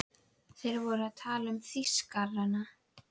Þá veit ég ekki fyrri til en upp úr